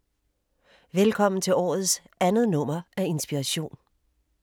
Velkommen til årets andet nummer af Inspiration.